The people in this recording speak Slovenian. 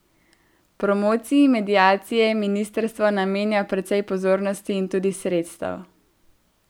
Promociji mediacije ministrstvo namenja precej pozornosti in tudi sredstev.